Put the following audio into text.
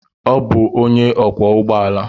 Ọ bụ onye ọkwọ ụgbọ ala.